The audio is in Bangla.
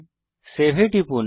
সেভ এ টিপুন